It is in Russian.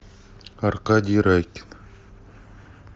аркадий райкин